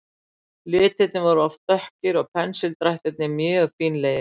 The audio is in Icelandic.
Litirnir voru oft dökkir og pensildrættirnir mjög fínlegir.